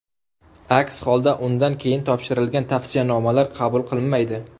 Aks holda, undan keyin topshirilgan tavsiyanomalar qabul qilinmaydi.